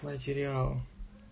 материал